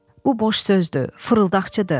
Bu boş sözdür, fırıldaqçıdır.